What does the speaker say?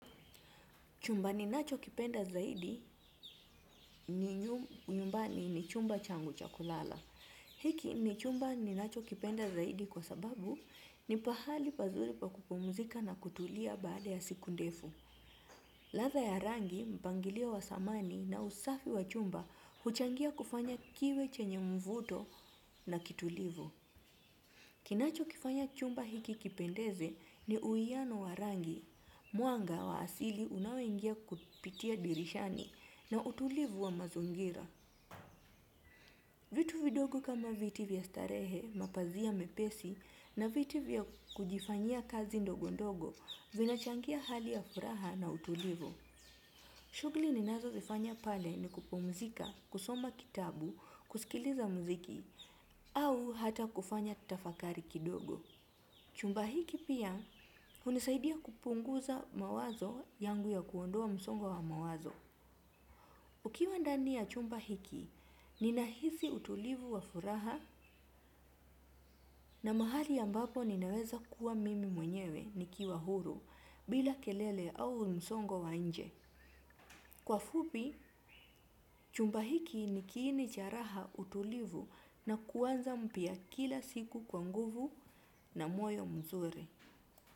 Chumba ninachokipenda zaidi ni nyumbani ni chumba changu cha kulala. Hiki ni chumba ninachokipenda zaidi kwa sababu ni pahali pazuri pa kupumzika na kutulia baada ya siku ndefu. Ladha ya rangi, mpangilio wa samani na usafi wa chumba huchangia kufanya kiwe chenye mvuto na kitulivu. Kinachokifanya chumba hiki kipendeze ni uwiano wa rangi, mwanga wa asili unaoingia kupitia dirishani na utulivu wa mazingira. Vitu vidogo kama viti vya starehe, mapazia mepesi na viti vya kujifanyia kazi ndogo ndogo, vinachangia hali ya furaha na utulivu. Shughuli ninazozifanya pale ni kupumzika, kusoma kitabu, kusikiliza mziki, au hata kufanya tafakari kidogo. Chumba hiki pia hunisaidia kupunguza mawazo yangu ya kuondoa msongo wa mawazo. Ukiwa ndani ya chumba hiki, nina hisi utulivu wa furaha na mahali ambapo ninaweza kuwa mimi mwenyewe nikiwa huru bila kelele au msongo wa nje. Kwa fupi, chumba hiki ni kiini cha raha utulivu na kuanza mpya kila siku kwa nguvu na moyo mzuri.